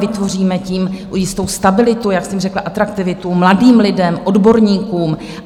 Vytvoříme tím jistou stabilitu, jak jsem řekla, atraktivitu mladým lidem, odborníkům.